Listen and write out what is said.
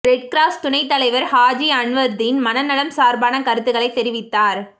red cross துணைத் தலைவர் ஹாஜி அன்வர்தீன் மனநலம் சார்பான கருத்துக்களை தெரிவித்தார்